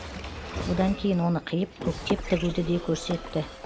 одан кейін оны қиып көктеп тігуді де көрсетті